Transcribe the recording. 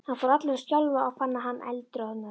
Hann fór allur að skjálfa og fann að hann eldroðnaði.